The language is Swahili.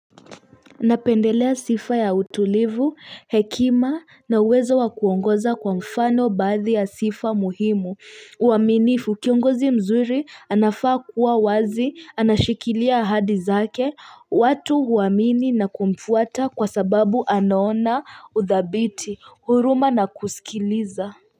Napendelea sifa ya utulivu hekima na uwezo wa kuongoza kwa mfano baadhi ya sifa muhimu uaminifu kiongozi mzuri anafaa kuwa wazi anashikilia ahadi zake watu huamini na kumfuata kwa sababu anaona udhabiti huruma na kusikiliza.